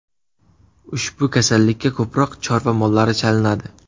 Ushbu kasallikka ko‘proq chorva mollari chalinadi.